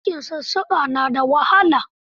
Aikin sussuka na da wahala.